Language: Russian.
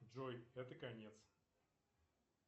джой это конец